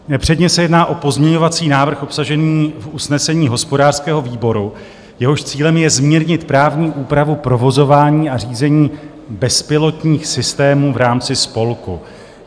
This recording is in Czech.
Předně se jedná o pozměňovací návrh obsažený v usnesení hospodářského výboru, jehož cílem je zmírnit právní úpravu provozování a řízení bezpilotních systémů v rámci spolku.